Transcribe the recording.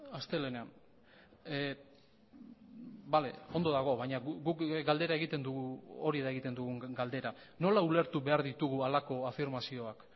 astelehenean bale ondo dago baina guk galdera egiten dugu hori da egiten dugun galdera nola ulertu behar ditugu halako afirmazioak